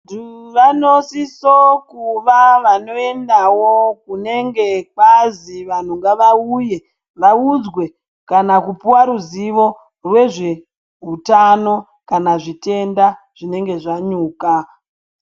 Vantu vanosisa kuva vanoendawo kunenge kwazi vantu ngavauye vaudzwe kana kupuwa ruzivo rezveutano kana zvitenda zvinenge zvanyuka.